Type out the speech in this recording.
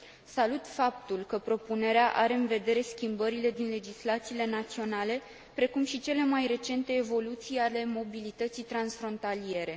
Salut faptul că propunerea are în vedere schimbările din legislațiile naționale, precum și cele mai recente evoluții ale mobilității transfrontaliere.